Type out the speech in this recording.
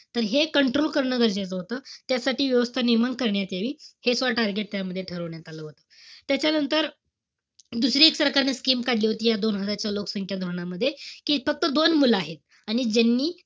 तर हे control करणं गरजेचं होतं. त्यासाठी व्यवस्था निर्माण करण्यात यावी. हे सुद्धा target त्याच्यामध्ये ठरवण्यात आलं होतं. त्याच्यानंतर, दुसरी एक सरकारनं scheme काढली होती. या दोन हजारच्या लोकसंख्या धोरणामध्ये. कि फक्त दोन मुलं आहेत. आणि ज्यांनी,